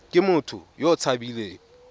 ke motho yo o tshabileng